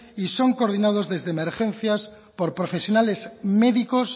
y son coordinados desde emergencias por profesionales médicos